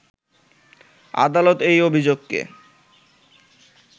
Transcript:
আদালত এই অভিযোগকে